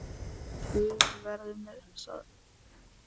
Guð veri með þér.